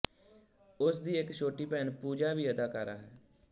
ਉਸ ਦੀ ਇੱਕ ਛੋਟੀ ਭੈਣ ਪੂਜਾ ਵੀ ਅਦਾਕਾਰਾ ਹੈ